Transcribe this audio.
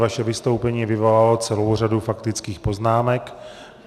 Vaše vystoupení vyvolalo celou řadu faktických poznámek.